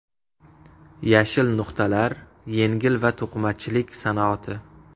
Yashil nuqtalar – yengil va to‘qimachilik sanoati.